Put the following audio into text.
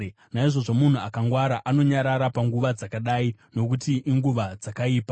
Naizvozvo munhu akangwara anonyarara panguva dzakadai, nokuti inguva dzakaipa.